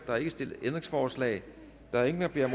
er ikke stillet ændringsforslag der er ingen der beder